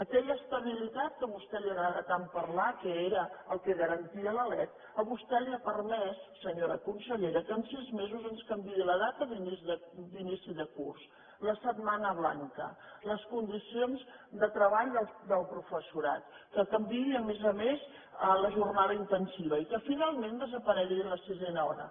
aquella estabilitat de què a vostè li agrada tant parlar que era el que garantia la lec a vostè li ha permès senyora consellera que en sis mesos ens canviï la data d’inici de curs la setmana blanca les condicions de treball del professorat que canviï a més a més la jornada intensiva i que finalment desaparegui la sisena hora